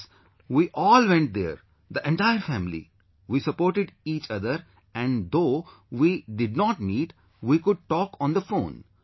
Yes, we all went there, the entire family, we supported each other and though we did not meet, we would talk on the phone